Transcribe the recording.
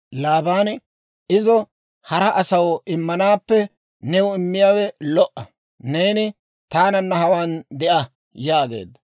Laabaani, «Izo hara asaw immanaappe new immiyaawe lo"a; neeni taananna hawaan de'a» yaageedda.